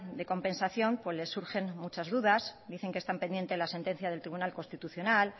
de compensación les surgen muchas dudas dicen que están pendientes de la sentencia del tribunal constitucional